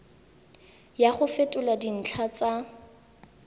ya go fetola dintlha tsa